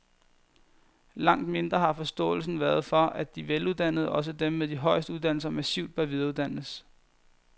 Langt mindre har forståelsen været for, at de veluddannede, også dem med de højeste uddannelser, massivt bør videreuddannes.